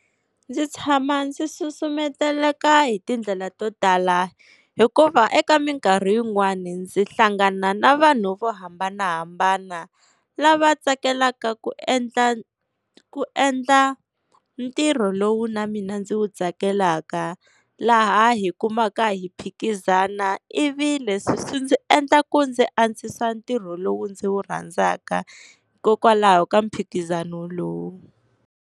Ndzi tshama ndzi susumeteleka hi tindlela to tala hikuva eka minkarhi yin'wani ndzi hlangana na vanhu vo hambanahambana, lava tsakelaka ku endla ku endla ntirho lowu na mina ndzi wu tsakelaka. Laha hi kumaka hi phikizana ivi leswi swi ndzi endla ku ndzi antswisa ntirho lowu ndzi wu rhandzaka hikokwalaho ka mphikizano lowu.